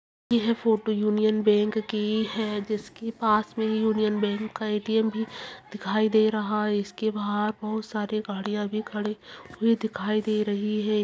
यह photo Union Bank की है जिसके पास मे यूनियन बैंक का ए_टी_एम भी दिखाई दे रहा है इसके बाहर बहुत सारी गाड़िया भी खड़ी हुई दिखाई दे रही है